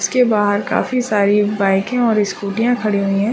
उसके बाहर काफी सारी बाइके और स्कूटीया खड़ी हुई है।